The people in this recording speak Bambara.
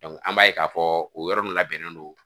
an b'a ye k'a fɔ o yɔrɔ min labɛnnen don